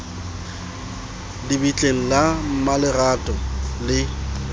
le bitleng la mmaletrato le